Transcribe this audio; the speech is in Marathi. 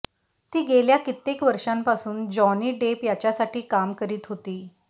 ती गेल्या कित्येक वर्षांपासून जॉनी डेप याच्यासाठी काम करीत होती